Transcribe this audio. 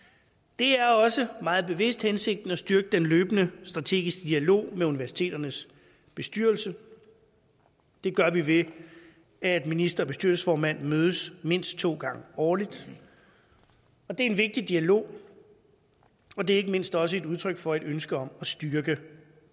det er også meget bevidst hensigten at styrke den løbende strategiske dialog med universiteternes bestyrelser det gør vi ved at minister og bestyrelsesformand mødes mindst to gange årligt det er en vigtig dialog og det er ikke mindst også et udtryk for et ønske om at styrke